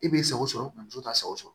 E b'i sago sɔrɔ muso t'a sɔgɔsɔ